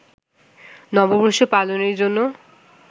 নববর্ষ পালনের জন্য